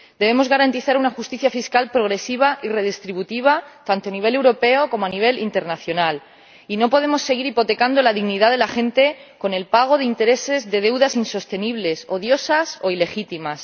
Debemos garantizar una justicia fiscal progresiva y redistributiva tanto a nivel europeo como a nivel internacional y no podemos seguir hipotecando la dignidad de la gente con el pago de intereses de deudas insostenibles odiosas o ilegítimas.